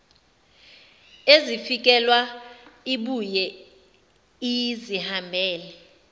ezifikela ibuye izihambele